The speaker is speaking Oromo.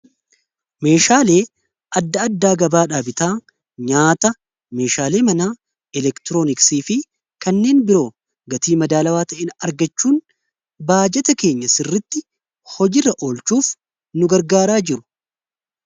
meeshaalee adda addaa gabaadhaa bitaa nyaata meeshaalee manaa eleektirooniksii fi kanneen biroo gatii madaalawaa taheen argachuun baajeeta keenya sirritti hojiirra olchuuf nu gargaaraa jiru